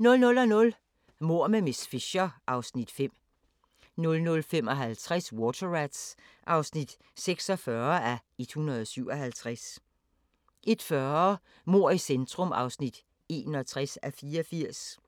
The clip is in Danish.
00:00: Mord med miss Fisher (Afs. 5) 00:55: Water Rats (46:177) 01:40: Mord i centrum (61:84)